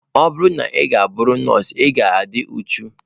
Ọ bụrụ na ị ga-abụrịrị nọọsụ, ị ga-adị uchu.